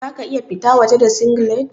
Za ka iya fita waje da singlet?